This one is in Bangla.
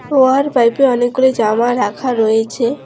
পাইপে অনেকগুলি জামা রাখা রয়েছে।